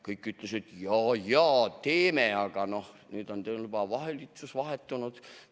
Kõik ütlesid, jaa-jaa, teeme, aga nüüd on valitsus vahetunud.